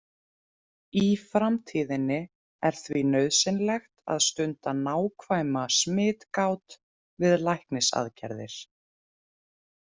Í framtíðinni er því nauðsynlegt að stunda nákvæma smitgát við læknisaðgerðir.